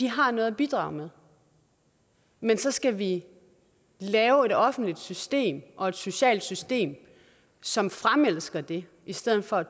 har noget at bidrage med men så skal vi lave et offentligt system og et socialt system som fremelsker det i stedet for at